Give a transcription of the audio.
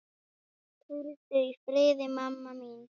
Hvíldu í friði, mamma mín.